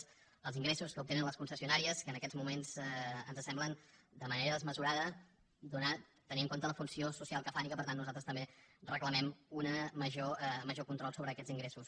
és els ingressos que obtenen les concessionàries que en aquest moment ens semblen de manera desmesurada tenint en compte la funció social que fan i que per tant nosaltres també reclamem un major control sobre aquests ingressos